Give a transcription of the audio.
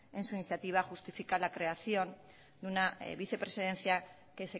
en su iniciativa justifica la creación de una vicepresidencia que